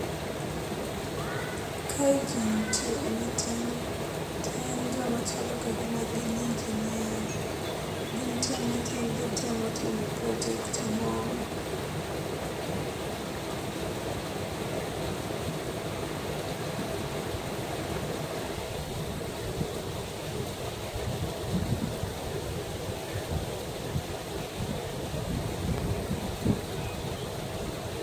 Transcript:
Kae jii nitie meeting. To en joma chalo ka gima gin engineers. Gintie meeting gi temo timo project moro.